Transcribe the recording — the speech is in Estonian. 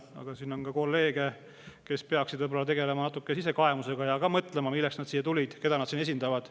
Aga siin on ka kolleege, kes peaksid tegelema natuke sisekaemusega ja mõtlema, milleks nad siia tulid, keda nad siin esindavad.